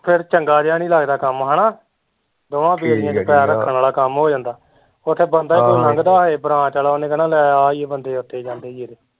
ਫਿਰ ਚੰਗਾ ਜਿਹਾ ਨੀ ਲੱਗਦਾ ਕੰਮ ਹੈਨਾ ਦੋਵਾਂ ਬੇੜੀਆ ਚ ਪੈਰ ਰੱਖਣ ਆਲਾ ਕੰਮ ਹੋ ਜਾਂਦਾ, ਉੱਥੇ ਬੰਦਾ ਕੋਈ ਲੰਘਦਾ ਹੋਏ branch ਤੇ ਉਹਨੇ ਕਹਿਣਾ ਲੈ ਆ ਈ ਓਹ ਬੰਦੇ ਓਥੇ ਜਾਂਦੇ ਈ ਜੇਹੜੇ